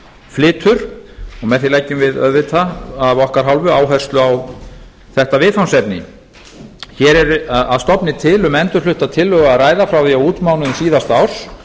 flytur með því leggjum við auðvitað af okkar hálfu áherslu á þetta viðfangsefni hér er að stofni til um endurflutta tillögu að ræða frá því á útmánuðum síðasta árs